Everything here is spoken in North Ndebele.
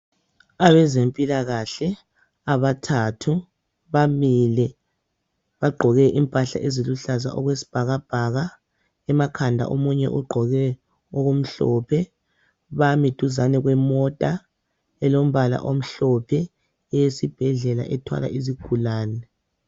Abezempilakahle abathathu bamile bagqoke impahla eziluhlaza okwesibhakabhaka emakhanda omunye ugqoke okumhlophe bami duzane kwemota elombala omhlophe eyesibhedlela ethwala izigulane.